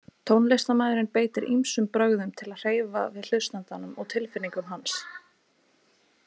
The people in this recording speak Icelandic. Tónlistarmaðurinn beitir ýmsum brögðum til að hreyfa við hlustandanum og tilfinningum hans.